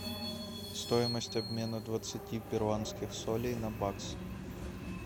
стоимость обмена двадцати перуанских солей на бакс